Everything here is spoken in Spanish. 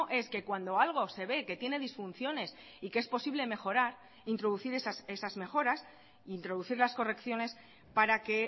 es que cuando algo se ve que tiene disfunciones y que es posible mejorar introducir esas mejoras introducir las correcciones para que